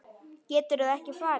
Geturðu ekki farið?